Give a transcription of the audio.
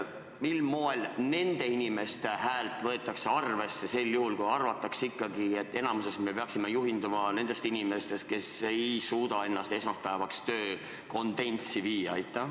Mil moel nende inimeste häält võetakse arvesse sel juhul, kui arvatakse ikkagi, et enamuses me peaksime juhinduma nendest inimestest, kes ei suuda ennast esmaspäevaks töökonditsiooni viia?